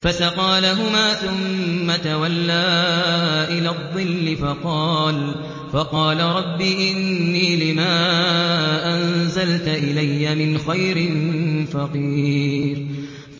فَسَقَىٰ لَهُمَا ثُمَّ تَوَلَّىٰ إِلَى الظِّلِّ فَقَالَ رَبِّ إِنِّي لِمَا أَنزَلْتَ إِلَيَّ مِنْ خَيْرٍ فَقِيرٌ